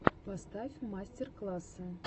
поставь мастер классы